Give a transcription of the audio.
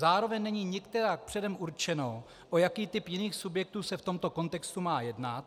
Zároveň není nikterak předem určeno, o jaký typ jiných subjektů se v tomto kontextu má jednat.